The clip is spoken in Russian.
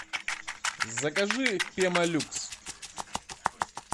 закажи пемолюкс